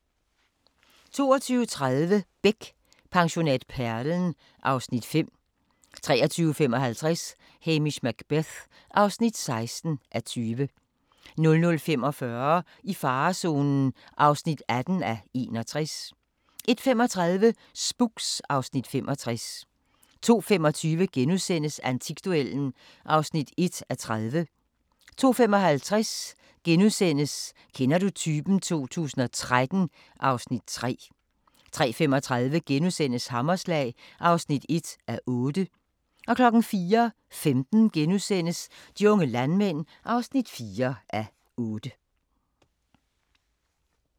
22:30: Beck: Pensionat Perlen (Afs. 5) 23:55: Hamish Macbeth (16:20) 00:45: I farezonen (18:61) 01:35: Spooks (Afs. 65) 02:25: Antikduellen (1:30)* 02:55: Kender du typen 2013 (Afs. 3)* 03:35: Hammerslag (1:8)* 04:15: De unge landmænd (4:8)*